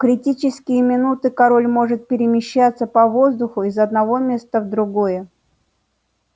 в критические минуты король может перемещаться по воздуху из одного места в другое